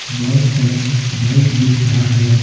बहुत सारा बाइक दिख रहा है।